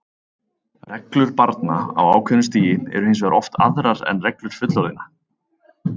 Reglur barna á ákveðnu stigi eru hins vegar oft aðrar en reglur fullorðinna.